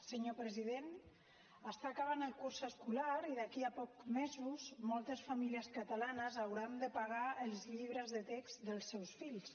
senyor president està acabant el curs escolar i d’aquí a pocs mesos moltes famílies catalanes hauran de pagar els llibres de text dels seus fills